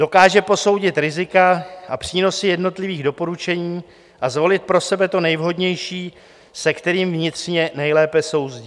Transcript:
Dokáže posoudit rizika a přínosy jednotlivých doporučení a zvolit pro sebe to nejvhodnější, se kterým vnitřně nejlépe souzní.